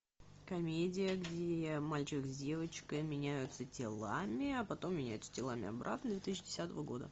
комедия где мальчик с девочкой меняются телами а потом меняются телами обратно две тысячи десятого года